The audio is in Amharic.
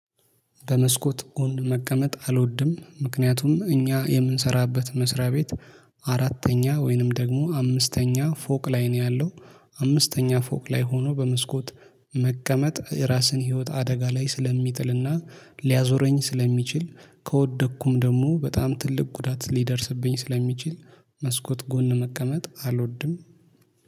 በመስኮት ጎን መቀመጥ አልወድም። ምክንያቱም እኛ የምንሰራበት መስሪያ ቤት አራተኛ ወይንም ደግሞ አምስተኛ ፎቅ ላይ ነው ያለው። አምስተኛ ፎቅ ላይ ሆኖ በመስኮት መቀመጥ ራስን ህይወት አደጋ ላይ ስለሚጥልና ሊያዞረኝ ስለሚችል ከወደቅኩም ደግሞ በጣም ትልቅ ጉዳት ሊደርስብኝ ስለሚችል መስኮት ጎን መቀመጥ አልወድም።